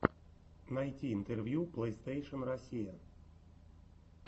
найти интервью плейстейшен россия